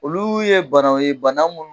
Olu ye banaw ye bana munnu